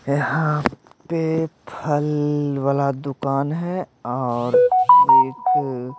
यहां पे फल वाला दुकान है और एक--